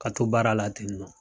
Ka to baara la ten nɔ.